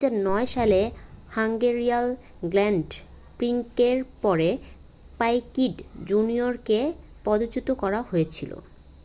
2009 সালের Hungarian Grand প্রিক্সের পরে পাইকিট জুনিয়রকে পদচ্যুত করা হয়েছিল